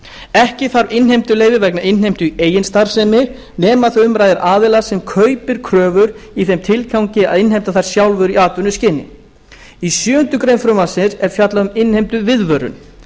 ekki þarf innheimtuleyfi vegna innheimtu í eigin starfsemi nema þegar um ræðir aðila sem kaupir kröfur í þeim tilgangi að innheimta þær sjálfur í atvinnuskyni í sjöundu greinar frumvarpsins er fjallað um innheimtuviðvörun